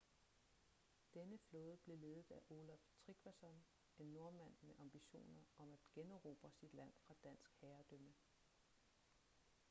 denne flåde blev ledet af olaf trygvasson en nordmand med ambitioner om at generobre sit land fra dansk herredømme